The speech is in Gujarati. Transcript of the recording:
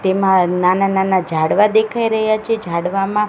તેમા નાના નાના ઝાડવા દેખાય રહ્યા છે ઝાડવામાં--